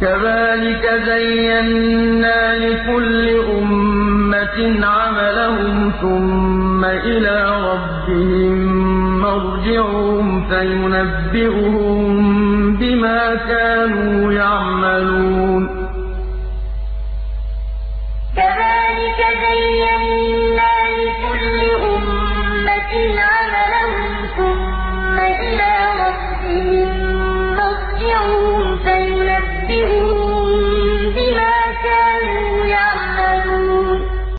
كَذَٰلِكَ زَيَّنَّا لِكُلِّ أُمَّةٍ عَمَلَهُمْ ثُمَّ إِلَىٰ رَبِّهِم مَّرْجِعُهُمْ فَيُنَبِّئُهُم بِمَا كَانُوا يَعْمَلُونَ وَلَا تَسُبُّوا الَّذِينَ يَدْعُونَ مِن دُونِ اللَّهِ فَيَسُبُّوا اللَّهَ عَدْوًا بِغَيْرِ عِلْمٍ ۗ كَذَٰلِكَ زَيَّنَّا لِكُلِّ أُمَّةٍ عَمَلَهُمْ ثُمَّ إِلَىٰ رَبِّهِم مَّرْجِعُهُمْ فَيُنَبِّئُهُم بِمَا كَانُوا يَعْمَلُونَ